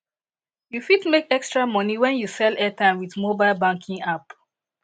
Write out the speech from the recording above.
you fit make extra moni wen you sell airtime with mobile banking app